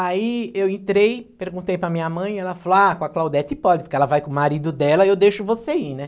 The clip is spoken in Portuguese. Aí eu entrei, perguntei para minha mãe e ela falou, ah, com a Claudete pode, porque ela vai com o marido dela e eu deixo você ir, né?